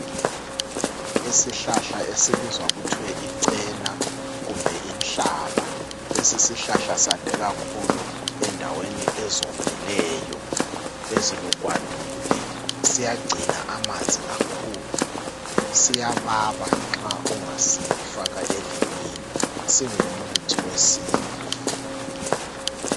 Isihlahla esibizwa kuthiwa icena kumbe inhlaba. Lesi isihlahla sande kakhulu endaweni ezomileyo ezilugwadule. Siyagcina amanzi kakhulu. Siyababa nxa ungasifaka elimini. Singumuthi wesintu.